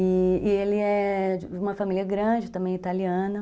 E ele é de uma família grande, também italiana.